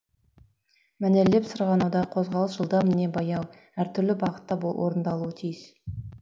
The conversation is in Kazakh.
мәнерлеп сырғанауда қозғалыс жылдам не баяу әр түрлі бағытта орындалуы тиіс